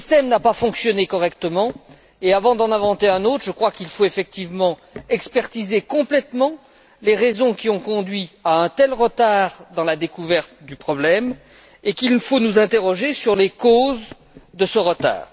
Mais le système n'a pas fonctionné correctement et, avant d'en inventer un autre, je crois qu'il faut effectivement examiner avec attention complètement les raisons qui ont conduit à un tel retard dans la découverte du problème et nous interroger sur les causes de ce retard.